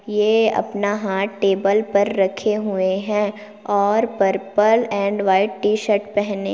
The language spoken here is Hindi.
ये अपना हाथ टेबल पर रखे हुए है और purple and white T-shirt पहने--